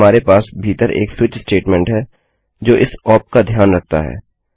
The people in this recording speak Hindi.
अब हमारे पास भीतर एक स्विच स्टेटमेंट है जो इस ओप का ध्यान रखता है